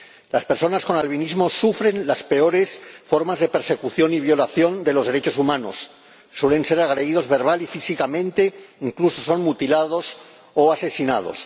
Las personas con albinismo sufren las peores formas de persecución y violación de los derechos humanos suelen ser agredidas verbal y físicamente, incluso son mutiladas o asesinadas.